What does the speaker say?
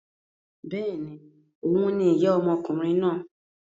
Bẹ́ẹ̀ni, òhun ni ìyá ọmọkùnrin náà.